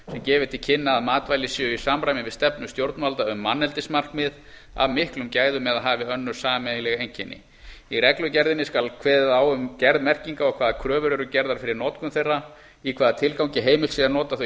til kynna að matvælin séu í samræmi við stefnu stjórnvalda um manneldismarkmið af miklum gæðum eða hafi önnur sameiginleg einkenni í reglugerðinni skal kveðið á um gerð merkinga og hvaða kröfur eru gerðar fyrir notkun þeirra í hvaða tilgangi heimilt sé að nota þau